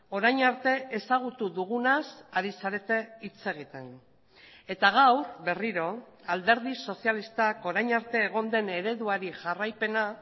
orain arte ezagutu dugunaz ari zarete hitz egiten eta gaur berriro alderdi sozialistak orain arte egon den ereduari jarraipena